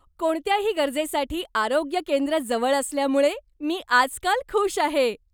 कोणत्याही गरजेसाठी आरोग्य केंद्र जवळ असल्यामुळे मी आजकाल खुष आहे.